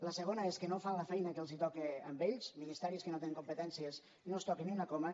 la segona és que no fan la feina que els toca a ells a ministeris que no tenen competències no es toca ni una coma